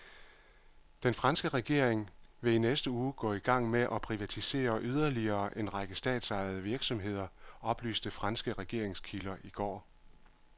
Den franske regering vil i næste uge gå i gang med at privatisere yderligere en række statsejede virksomheder, oplyste franske regeringskilder i går.